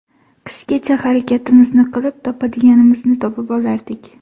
Qishgacha harakatimizni qilib topadiganimizni topib olardik.